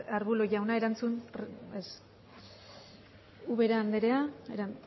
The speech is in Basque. arbulo jauna ez ubera andrea ezta